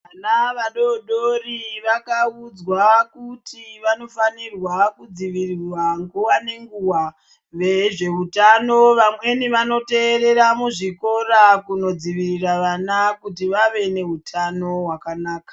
Vana vadodori vakaudzwa kuti vanofanirwa kudzivirirwa nguva ngenguva, vezveutano vamweni vanoteerera muzvikora kunodzivirira vana kuti vave nehutano hwakanaka.